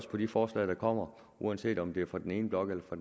på de forslag der kommer uanset om det er fra den ene blok eller fra